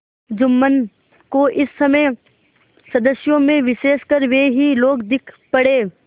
जुम्मन को इस समय सदस्यों में विशेषकर वे ही लोग दीख पड़े